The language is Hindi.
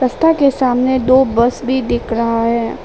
रस्ता के सामने दो बस भी दिख रहा है।